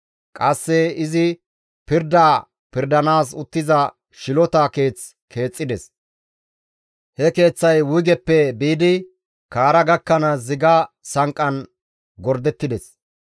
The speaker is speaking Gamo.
Qasse izi pirda pirdanaas uttiza shilota keeth keexxides; he keeththay wuygeppe biidi kaara gakkanaas ziga sanqqan gordettides.